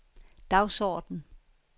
dagsorden